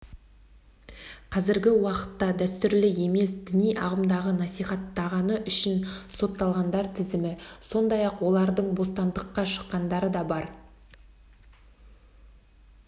қазіргі уақытта дәстүрлі емес діни ағымды насихаттағаны үшін сотталғандар тізімі сондай-ақ олардың бостандыққа шыққандары да бар